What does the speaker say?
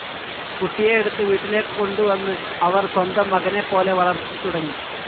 കുട്ടിയെ എടുത്ത് വീട്ടിലേക്കു കൊണ്ടുവന്ന് അവർ സ്വന്തം മകനെപ്പോലെ വളർത്തിത്തുടങ്ങി.